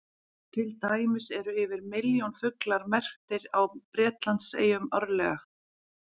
Til dæmis eru yfir milljón fuglar merktir á Bretlandseyjum árlega.